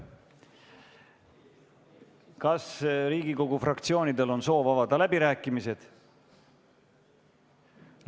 Kas Riigikogu fraktsioonidel on soov avada läbirääkimised?